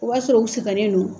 O b'a sɔrɔ u sɛgɛnnen don